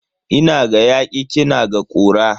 Ina ga yaki kina ga kura.